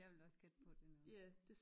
Jeg ville også gætte på det noget